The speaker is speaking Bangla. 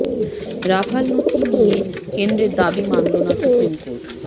রাফাল নথি নিয়ে কেন্দ্রের দাবি মানল না সুপ্রিম কোর্ট